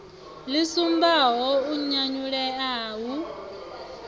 ḽi sumbaho u nyanyulea hu